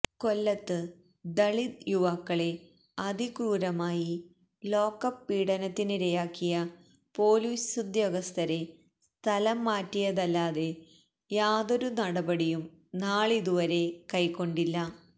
കൊല്ലത്ത് ദലിത് യുവാക്കളെ അതിക്രൂരമായി ലോക്കപ്പ് പീഡനത്തിരയാക്കിയ പൊലീസുദ്യോഗസ്ഥരെ സ്ഥലം മാറ്റിയതല്ലാതെ യാതൊരു നടപടിയും നാളുതുവരെ കൈകൊണ്ടില്ല